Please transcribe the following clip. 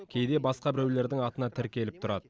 кейде басқа біреулердің атына тіркеліп тұрады